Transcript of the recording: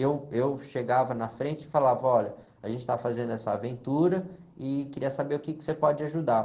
Eu, eu chegava na frente e falava, olha, a gente está fazendo essa aventura e queria saber o quê que você pode ajudar.